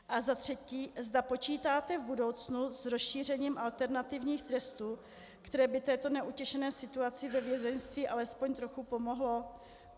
A za třetí, zda počítáte v budoucnu s rozšířením alternativních trestů, které by této neutěšené situaci ve vězeňství alespoň trochu pomohlo.